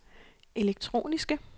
elektroniske